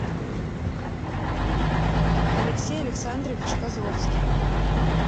алексей александрович козловский